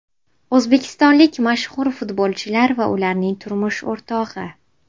O‘zbekistonlik mashhur futbolchilar va ularning turmush o‘rtog‘i.